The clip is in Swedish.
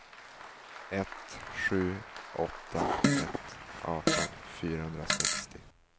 ett sju åtta ett arton fyrahundrasextio